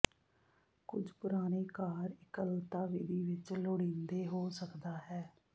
ਕੁਝ ਪੁਰਾਣੇ ਕਾਰ ਇਕੱਲਤਾ ਵਿਧੀ ਵਿੱਚ ਲੋੜੀਦੇ ਹੋ ਸਕਦਾ ਹੈ